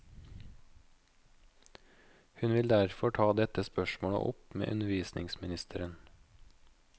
Hun vil derfor ta dette spørsmålet opp med undervisningsministeren.